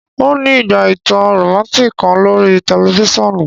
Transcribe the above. N o ni ígbà ìtàn romantic kan lorí tẹlifisiọnu